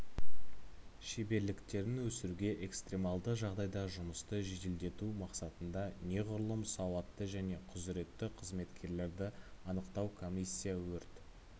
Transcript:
шеберліктерін өсіруге экстремалды жағдайда жұмысты жеделдету мақсатында неғұрлым сауатты және құзыретті қызметкерлерді анықтау комиссия өрт